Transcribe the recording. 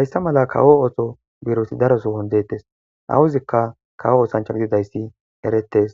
hayssa mala kawo ooso birosi daro sowon deettes awuzikka kawo oosancha gididayssi eretes